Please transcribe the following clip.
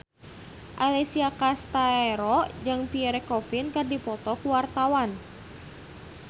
Alessia Cestaro jeung Pierre Coffin keur dipoto ku wartawan